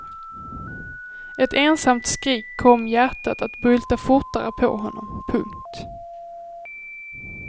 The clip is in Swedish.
Ett ensamt skrik kom hjärtat att bulta fortare på honom. punkt